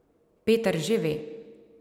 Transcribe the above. Peter že ve.